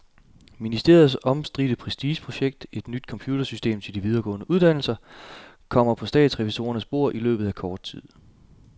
Ministeriets omstridte prestigeprojekt, et nyt computersystem til de videregående uddannelser, kommer på statsrevisorernes bord i løbet af kort tid.